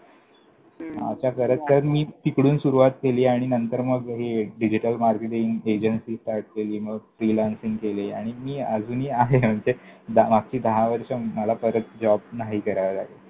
हम्म! वा वा! असं करत करत मी तिकडून सुरुवात केली आणि नंतर मग हे digital marketing agency start केली. मग freelancing केली आणि मी अजूनही आहे. म्हणजे मागची दहा वर्ष मला परत job नाही करावा लागला.